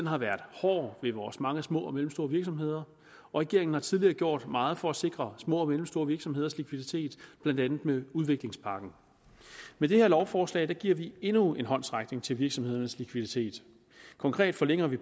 har været hård ved vores mange små og mellemstore virksomheder og regeringen har tidligere gjort meget for at sikre små og mellemstore virksomheders likviditet blandt andet med udviklingspakken med det her lovforslag giver vi endnu en håndsrækning til virksomhedernes likviditet konkret forlænger vi